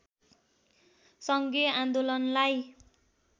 सङ्घीय आन्दोलनलाई